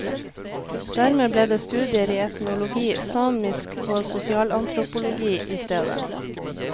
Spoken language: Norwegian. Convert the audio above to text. Dermed ble det studier i etnologi, samisk og sosialantropologi i stedet.